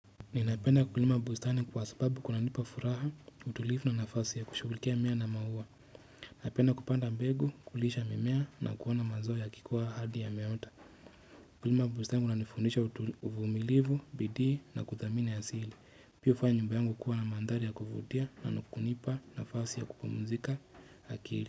Ninapenda kulima bustani kwa sababu kunanipa furaha, utulivu na nafasi ya kushughulikia mimea na maua. Napenda kupanda mbegu, kulisha mimea na kuoana mazoa yakikuwa hadi yameota. Kulima bustani kuna nifundisha utulivu, bidii na kudhamini asili. Pia hufanya nyumba yangu kuwa na mandhari ya kuvutia na kunipa nafasi ya kupumzika akili.